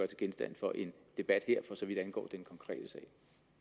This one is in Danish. til genstand for en debat her for så vidt angår den konkrete